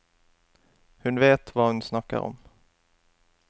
Hun vet hva hun snakker om.